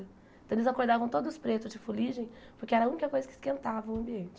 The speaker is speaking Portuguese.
Então eles acordavam todos pretos de foligem porque era a única coisa que esquentava o ambiente.